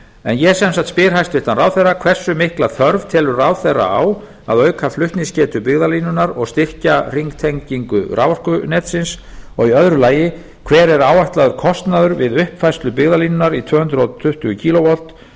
en ég sem sagt spyr hæstvirtur ráðherra fyrsta hversu mikla þörf telur ráðherra á að auka flutningsgetu byggðalínunnar og styrkja hringtengingu raforkunetsins annar hver er áætlaður kostnaður við uppfærslu byggðalínunnar í tvö hundruð tuttugu kv